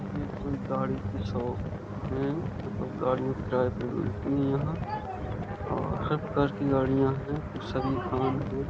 ये कोई गाड़ी की शॉप है। मतलब गाड़ियाँ किराये पर मिलती हैं यहाँ और सब प्रकार की गाड़ियाँ हैं। सभी हैं।